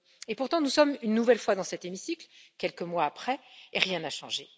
Pourtant, nous sommes une nouvelle fois dans cet hémicycle, quelques mois après, et rien n'a changé.